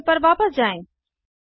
terminal पर वापस जाएँ